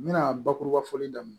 N bɛna bakuruba fɔli daminɛ